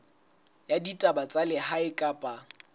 ya ditaba tsa lehae kapa